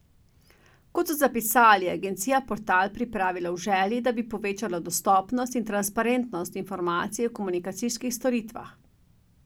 Kot so zapisali, je agencija portal pripravila v želji, da bi povečala dostopnost in transparentnost informacij o komunikacijskih storitvah.